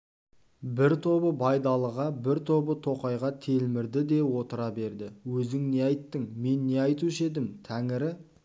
бір тобы байдалыға бір тобы тоқайға телмірді де отыра берді өзің не айттың мен не айтушы едім тәңірі